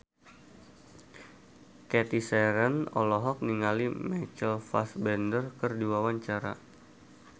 Cathy Sharon olohok ningali Michael Fassbender keur diwawancara